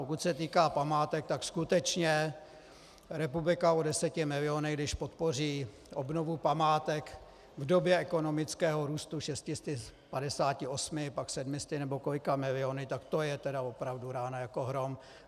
Pokud se týká památek, tak skutečně republika o deseti milionech, když podpoří obnovu památek v době ekonomického růstu 658, pak 700 nebo kolika miliony, tak to je teda opravdu rána jako hrom!